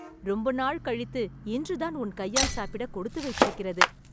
ரொம்ப நாள் கழித்து, இன்று தான் உன் கையால் சாப்பிட கொடுத்து வைத்திருக்கிறது